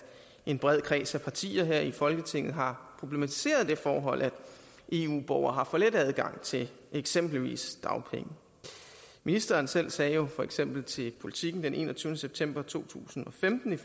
en bred kreds af partier her i folketinget har problematiseret det forhold at eu borgere har for let adgang til eksempelvis dagpenge ministeren selv sagde jo for eksempel til politiken den enogtyvende september to tusind og femten